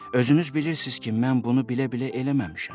Özünüz bilirsiz ki, mən bunu bilə-bilə eləməmişəm.